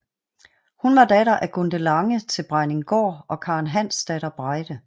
Hun var datter af Gunde Lange til Brejninggaard og Karen Hansdatter Breide